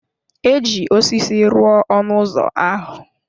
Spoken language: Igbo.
Eji osisi rụọ ọnụ ụzọ ahụ.